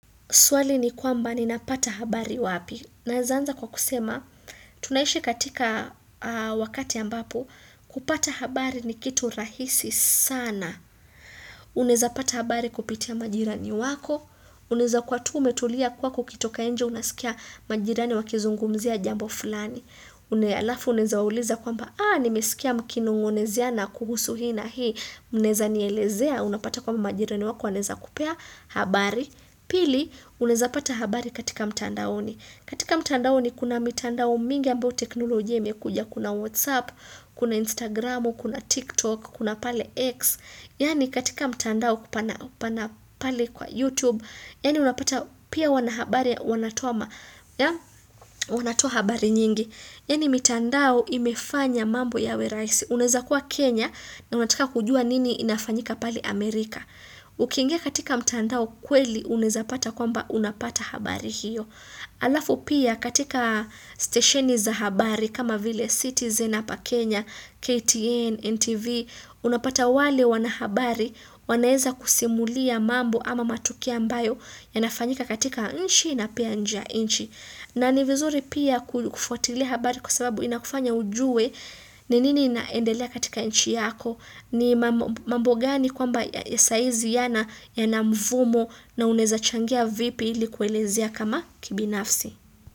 Swali ni kwamba ninapata habari wapi?. Naezaanza kwa kusema, tunaishi katika wakati ambapo kupata habari ni kitu rahisi sana. Unaeza pata habari kupitia majirani wako. Unaeza kua tu umetulia kwako ukitoka njee unasikia majirani wakizungumzia jambo fulani. Alafu uneza uliza kwamba, aa nimesikia mkinongonezana kuhusu hii na hii. Unaeza nielezea, unapata kwamba majirani wako, wanaeza kupea habari. Pili, unaeza pata habari katika mtandaoni. Katika mtandaoni kuna mitandao mingi ambao teknolojia imekuja. Kuna WhatsApp, kuna Instagram, kuna TikTok, kuna pale X. Yani katika mtandao pana pana pale kwa YouTube. Yani unapata pia wanahabari wanatoa habari nyingi. Yani mitandao imefanya mambo yawerahisi Unaeza kuwa Kenya na unataka kujua nini inafanyika pali Amerika. Ukingia katika mtandao kweli unaeza pata kwamba unapata habari hiyo. Alafu pia katika stesheni za habari kama vile citizen hapa Kenya, KTN, NTV, unapata wale wanahabari wanaeza kusimulia mambo ama matukio ambayo yanafanyika katika inchi na pia njee ya inchi. Na ni vizuri pia kufuatili habari kwa sababu inakufanya ujue ni nini inaendelea katika nchi yako ni mambo gani kwamba ya saizi ya na ya na mvumo na unaeza changia vipi ili kuelezea kama kibinafsi.